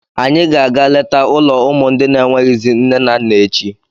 Anyị ga-aga letaa ụlọ ụmụ ndị n'enweghịzị nne na nna echi.